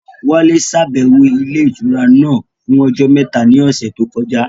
Wálé ṣàbẹ̀wò ilé ìtura náà fún ọjọ́ mẹ́ta ní ọ̀sẹ̀ tó kọjá